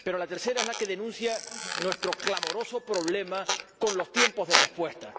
Pero la tercera es la que denuncia nuestro clamoroso problema con los tiempos de respuesta.